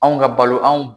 Anw ka balo anw